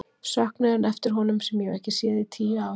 Söknuðinn eftir honum sem ég hef ekki séð í tíu ár.